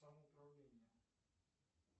самоуправление